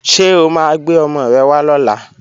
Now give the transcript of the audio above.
Ṣé o máa gbé ọmọ rẹ wá lọ́la?